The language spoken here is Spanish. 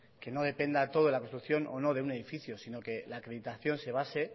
que no dependa todo la construcción o no de un edificio sino que la acreditación se base